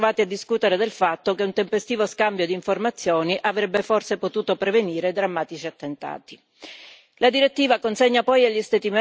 Troppe volte, infatti, in quest'Aula ci siamo ritrovati a discutere del fatto che un tempestivo scambio di informazioni avrebbe forse potuto prevenire drammatici attentati.